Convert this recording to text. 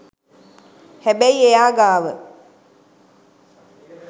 හැබැයි එයා ගාව